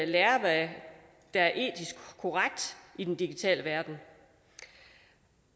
lærer hvad der er etisk korrekt i den digitale verden